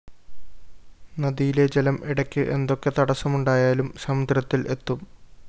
നദിയിലെ ജലം ഇടയ്ക്ക് എന്തൊക്കെ തടസ്സമുണ്ടായാലും സമുദ്രത്തില്‍ എത്തും